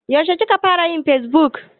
Yaushe ka fara yin fesbuk?